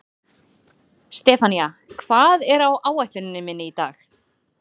Sefanía, hvað er á áætluninni minni í dag?